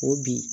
O bi